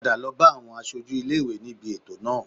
Padà lọ bá àwọn aṣojú ilé ìwé níbi ètò náà